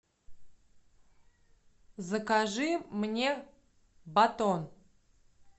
закажи мне батон